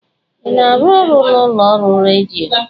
Ị na-arụ ọrụ n'ụlọ ọrụ redio?